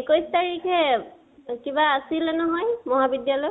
একৈছ তাৰিখে কিবা আছিলে নহয় মহাবিদ্য়ালয়ত?